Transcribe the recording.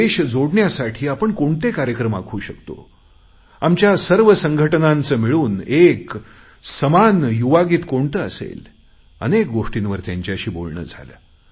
देश जोडण्यासाठी कोणते कार्यक्रम आखू शकतो आमच्या सर्व संघटनांचे मिळून एक समान युवागीत कोणते असेल अनेक गोष्टींवर त्यांच्याशी बोलणे झाले